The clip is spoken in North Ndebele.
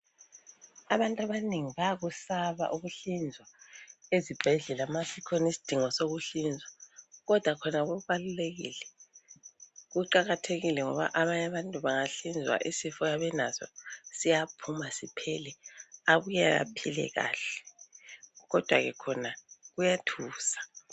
Abantu abanengi bayakusaba ukuhlinzwa ezibhedlela masikhona isidingo sokuhlinzwa kodwa khona kubalulekile. Kuqakathekile ngoba abanye abantu bangahlinzwa isifo ayabe enaso siyaphuma siphele abuye aphile kahle kodwa ke khona kuyathusa.